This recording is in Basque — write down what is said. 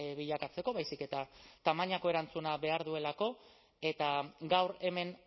bilakatzeko baizik eta tamainako erantzuna behar duelako eta gaur hemen